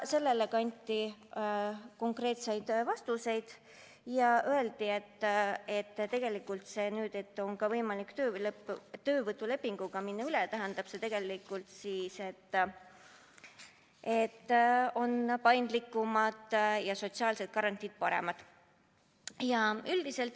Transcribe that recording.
Sellele anti konkreetsed vastused ja öeldi, et nüüd on ka võimalik töölepingule üle minna ja see tähendab, et on paindlikumad ja sotsiaalsed garantiid paremad.